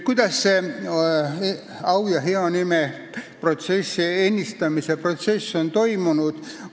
Kuidas see au ja hea nime ennistamise protsess on toimunud?